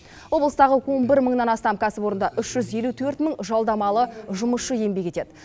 облыстағы он бір мыңнан астам кәсіпорында үш жүз елу төрт мың жалдамалы жұмысшы еңбек етеді